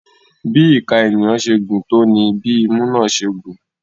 Bí ìka ènìyàn ṣe gùn tó ní bí imú náà ṣe gùn.